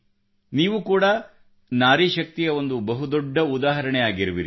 ನೀವು ಕೂಡಾ ನಾರಿ ಶಕ್ತಿಯ ಒಂದು ಬಹು ದೊಡ್ಡ ಉದಾಹರಣೆಯಾಗಿರುವಿರಿ